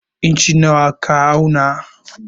Inci nawa ka auna?